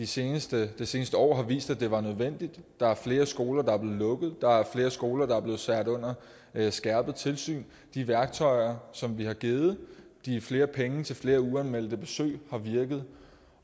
synes det seneste år har vist at det var nødvendigt der er flere skoler der er blevet lukket der er flere skoler der er blevet sat under skærpet tilsyn de værktøjer som vi har givet de flere penge til flere uanmeldte besøg har virket